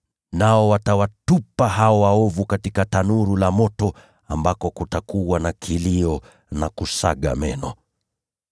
Nao watawatupa hao waovu katika tanuru la moto ambako kutakuwa na kilio na kusaga meno.”